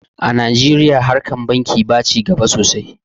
a najeriya harkar banki ba ci gaba sosai